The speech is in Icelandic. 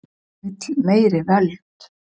Vill meiri völd